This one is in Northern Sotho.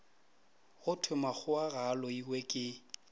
go thwemakgowa ga a loiweke